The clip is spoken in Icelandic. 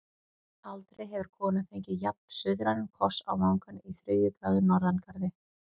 Aldrei hefur kona fengið jafn-suðrænan koss á vangann í þriðju gráðu norðangarði.